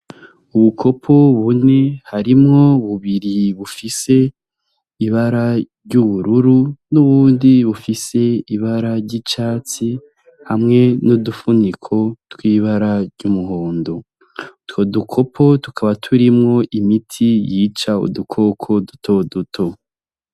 Ubukopo bune harimwo bubiri bufise ibara ry'ubururu n'uwundi bufise ibara ry'icatsi hamwe nudufuniko twibara ry'umuhondo two dukopo tukaba turimwo imiti yica udukoko duto duto.